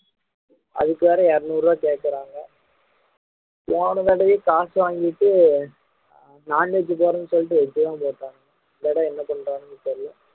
அதுக்கு வேற இருநூறு ரூபா கேக்குறாங்க போன தடவை காசு வாங்கிட்டு non veg போடுறேன்னு சொல்லிட்டு veg தான் போட்டாங்க இந்த தடவை என்ன பண்றாங்கன்னு தெரியல